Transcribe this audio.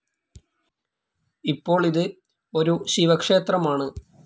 ഇപ്പോൾ ഇത് ഒരു ശിവക്ഷേത്രമാണ്.